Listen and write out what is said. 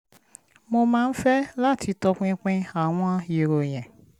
mo máa ń fẹ́ láti tọpinpin àwọn ìròyìn